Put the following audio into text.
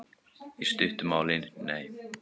Í stuttu máli: Nei.